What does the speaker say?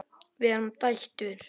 Við erum dætur!